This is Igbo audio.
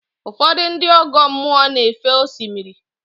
Ụfọdụ ndị ọgọ mmụọ na-éfé osimiri.